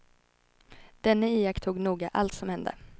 Denne iakttog noga allt som hände.